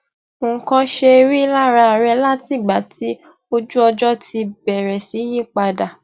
nǹkan ṣe rí lára rẹ látìgbà tí ojúọjó ti bèrè sí yí padà